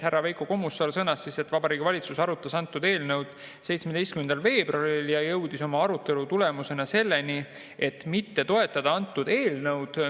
Härra Veiko Kommusaar sõnas, et Vabariigi Valitsus arutas eelnõu 17. veebruaril ja jõudis arutelu tulemusena selleni, et mitte toetada antud eelnõu.